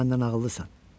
Sən məndən ağıllısan.